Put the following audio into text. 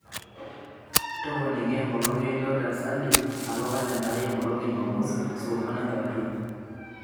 toponiki enkolong einoto e sally atua kalenda aai enkolong e jumamosi saa onguan enkewarie